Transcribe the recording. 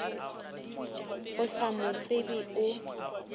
o sa mo tsebe o